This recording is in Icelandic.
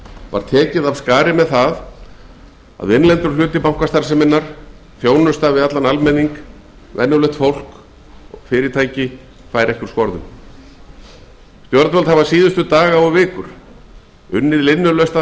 var tekið af skarið með að innlendur hluti bankastarfseminnar þjónusta við venjulegt fólk og fyrirtæki færi ekki úr skorðum stjórnvöld hafa síðustu daga og vikur unnið linnulaust að